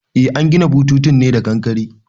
Eh an gina bututun ne da kankare